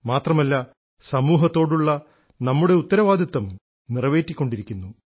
മാത്രമല്ല സമൂഹത്തോടുള്ള നമ്മുടെ ഉത്തരവാദിത്വം നിറവേറ്റിക്കൊണ്ടിരിക്കുന്നു